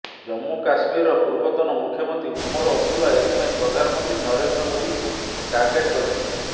ଜମ୍ମୁ କଶ୍ମୀରର ପୂର୍ବତନ ମୁଖ୍ୟମନ୍ତ୍ରୀ ଉମର ଅବଦୁଲ୍ଲା ଏଥିପାଇଁ ପ୍ରଧାନମନ୍ତ୍ରୀ ନରେନ୍ଦ୍ର ମୋଦିଙ୍କୁ ଟାର୍ଗେଟ କରିଛନ୍ତି